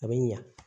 A bɛ ɲa